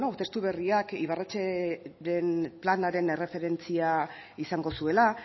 testu berriak ibarretxeren planaren erreferentzia izango zuela